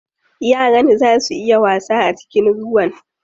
Yaran zaa su iya wasa a cikin ruwan?